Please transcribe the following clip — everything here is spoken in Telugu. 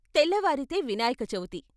తెల్లవారితే వినాయకచవితి.